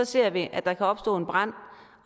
ser vi at der kan opstå en brand